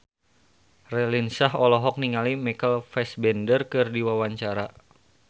Raline Shah olohok ningali Michael Fassbender keur diwawancara